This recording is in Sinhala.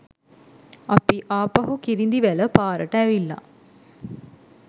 අපි ආපහු කිරිඳිවැල පාරට ඇවිල්ල